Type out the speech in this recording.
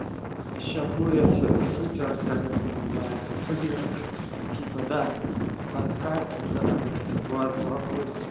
сейчас будет супер как это называется флирт типа да подкат два два восемь